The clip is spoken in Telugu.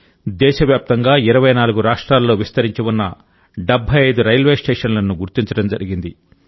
దేశవ్యాప్తంగా 24 రాష్ట్రాల్లో విస్తరించి ఉన్న 75 రైల్వే స్టేషన్లను గుర్తించడం జరిగింది